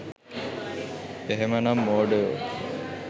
එහෙමනම් මෝඩයෝ